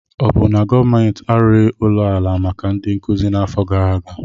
Ọ bụ na gọọmentị arụghị ụlọ ala maka ndị nkuzi n'afọ gara aga?